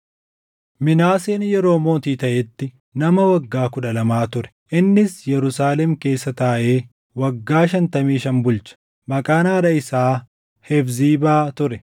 Minaaseen yeroo mootii taʼetti nama waggaa kudha lama ture; innis Yerusaalem keessa taaʼee waggaa shantamii shan bulche. Maqaan haadha isaa Hefziibaa ture.